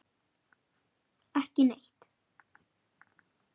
Ekki neitt